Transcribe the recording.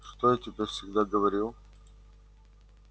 что я тебе всегда говорил